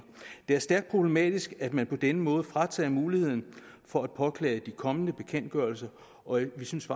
det er stærkt problematisk at man på denne måde fratager lodsejerne muligheden for at påklage de kommende bekendtgørelser og vi synes